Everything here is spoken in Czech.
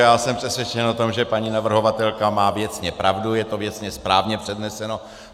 Já jsem přesvědčen o tom, že paní navrhovatelka má věcně pravdu, je to věcně správně předneseno.